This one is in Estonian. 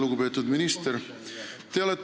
Lugupeetud minister!